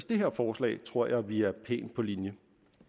det her forslag tror jeg vi ligger pænt på linje